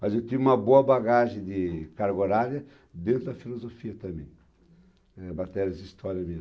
Mas eu tive uma boa bagagem de cargo horária dentro da Filosofia também, eh, matérias de História